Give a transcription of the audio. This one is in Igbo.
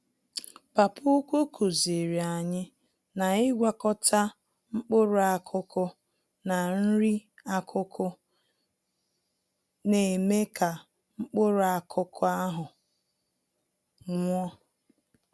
Papa ukwu kuziri anyị na ịgwakọta mkpụrụ-akụkụ na nri-akụkụ, némè' ka mkpụrụ-akụkụ ahụ nwụọ.